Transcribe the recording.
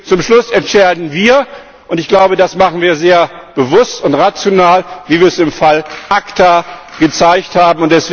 Zum Schluss entscheiden wir, und ich glaube, das machen wir sehr bewusst und rational, wie wir es im Fall ACTA gezeigt haben.